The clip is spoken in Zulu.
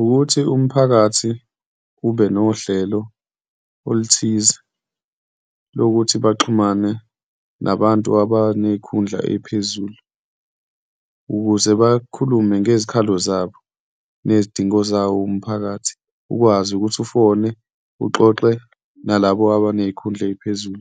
Ukuthi umphakathi ube nohlelo oluthize lokuthi baxhumane nabantu abaney'khundla ey'phezulu ukuze bakhulume ngezikhalo zabo, nezidingo zawo umphakathi, ukwazi ukuthi ufone uxoxe nalabo abaney'khundla ey'phezulu